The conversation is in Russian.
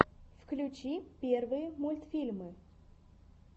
включи первые мультфильмы